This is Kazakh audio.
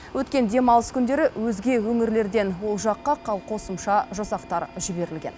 өткен демалыс күндері өзге өңірлерден ол жаққа қосымша жасақтар жіберілген